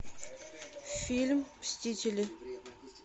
фильм мстители